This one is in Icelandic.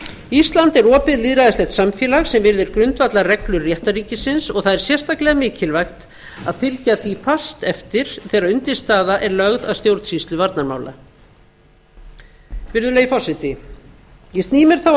ísland er opið lýðræðislegt samfélag sem virðir grundvallarreglur réttarríkisins og það er sérstaklega mikilvægt að fylgja því fast eftir þegar undirstaða er lögð að stjórnsýslu vandamála virðulegi forseti ég sný mér þá að